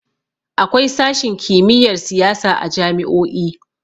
Akwai sashin kimiyyar siyasa a jami'o'i.